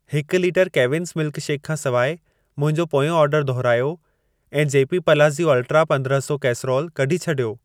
हिकु लीटरु केविन्स मिल्कशेकु खां सिवाइ मुंहिंजो पोयों ऑर्डर दुहिरायो ऐं जेपी पलाज़िओ अल्ट्रा पंद्रह सौ कैसरोल कढी छॾियो।